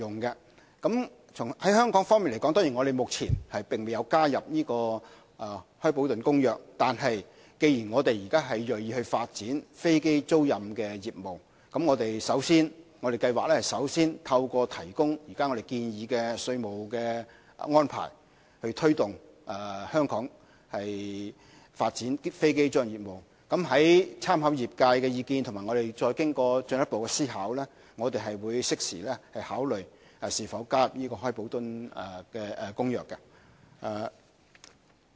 在香港方面，我們目前未有加入《開普敦公約》，但既然我們現在銳意發展飛機租賃的業務，我們計劃首先提供現時建議的稅務安排，以推動香港發展飛機租賃的業務，在參考業界的意見和經過進一步思考，會適時考慮會否加入《開普敦公約》。